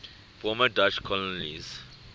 former dutch colonies